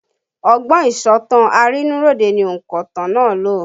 Ọgbọ́n ìsọ̀tàn arínúróde ni onkotan náà lò